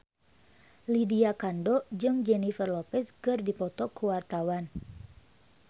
Lydia Kandou jeung Jennifer Lopez keur dipoto ku wartawan